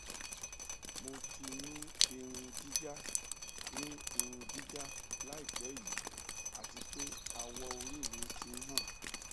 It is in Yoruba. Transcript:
mo ti ni irun jija ni irun jija laipe yi ati pe awọori mi ti n han